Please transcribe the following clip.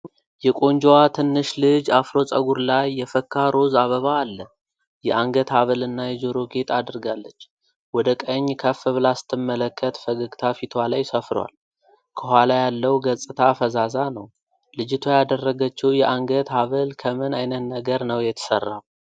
የቆንጆዋ ትንሽ ልጅ አፍሮ ፀጉር ላይ የፈካ ሮዝ አበባ አለ። የአንገት ሐብል እና የጆሮ ጌጥ አድርጋለች። ወደ ቀኝ ከፍ ብላ ስትመለከት ፈገግታ ፊቷ ላይ ሰፍሮአል። ከኋላ ያለው ገጽታ ፈዛዛ ነው። ልጅቷ ያደረገችው የአንገት ሐብል ከምን ዓይነት ነገር ነው የተሠራው?